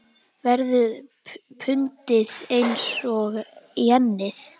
Verður pundið eins og jenið?